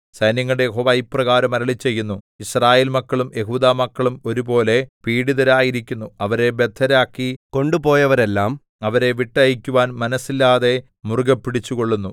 സൈന്യങ്ങളുടെ യഹോവ ഇപ്രകാരം അരുളിച്ചെയ്യുന്നു യിസ്രായേൽമക്കളും യെഹൂദാമക്കളും ഒരുപോലെ പീഡിതരായിരിക്കുന്നു അവരെ ബദ്ധരാക്കി കൊണ്ടുപോയവരെല്ലാം അവരെ വിട്ടയയ്ക്കുവാൻ മനസ്സില്ലാതെ മുറുകെപ്പിടിച്ചുകൊള്ളുന്നു